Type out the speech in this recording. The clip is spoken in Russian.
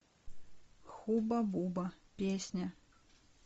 хуба буба песня